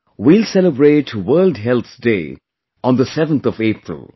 We will celebrate 'World Health Day' on the 7th of April